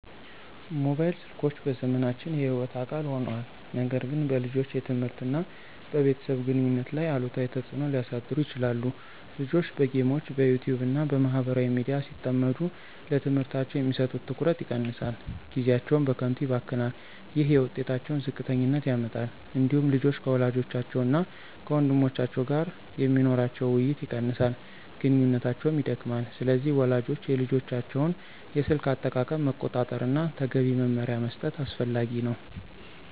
ሞባይል ስልኮች በዘመናችን የሕይወት አካል ሆነዋል፣ ነገር ግን በልጆች የትምህርት እና በቤተሰብ ግንኙነት ላይ አሉታዊ ተጽዕኖ ሊያሳድሩ ይችላሉ። ልጆች በጌሞች፣ በYouTube እና በማህበራዊ ሚዲያ ሲጠመዱ ለትምህርታቸው የሚሰጡት ትኩረት ይቀንሳል፣ ጊዜያቸውም በከንቱ ይባክናል። ይህ የውጤታቸውን ዝቅተኛነት ያመጣል። እንዲሁም ልጆች ከወላጆቻቸው እና ከወንድሞቻቸው ጋር የሚኖራቸው ውይይት ይቀንሳል፣ ግንኙነታቸውም ይደክማል። ስለዚህ ወላጆች የልጆቻቸውን የስልክ አጠቃቀም መቆጣጠር እና ተገቢ መመሪያ መስጠት አስፈላጊ ነው።